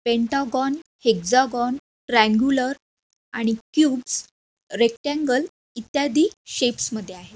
Pentagon hexagon triangular आणि cubes rectangle इत्यादि shapes मध्ये आहे.